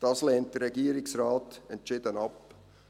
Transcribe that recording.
Dies lehnt der Regierungsrat entschieden ab.